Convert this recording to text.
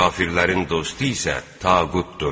Kafirlərin dostu isə tağutdur.